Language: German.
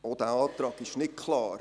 Auch dieser Antrag ist nicht klar: